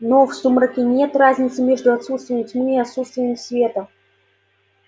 но в сумраке нет разницы между отсутствием тьмы и отсутствием света